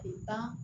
Kile tan